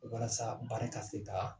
Walasa baara ka se ka